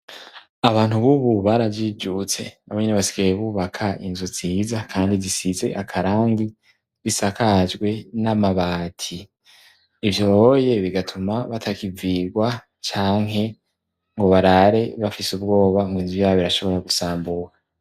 abantu b'ubu barajijutse na bonyene basigaye bubaka inzu nziza kandi zisize akarangi bisakajwe n'amabati ivyonye bigatuma batakivirwa canke ngo barare bafise ubwoba ngo inzu yabo irashobora gusambuka